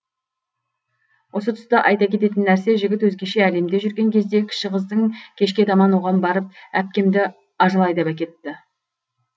осы тұста айта кететін нәрсе жігіт өзгеше әлемде жүрген кезде кіші қыздың кешке таман оған барып әпкемді ажал айдап әкетті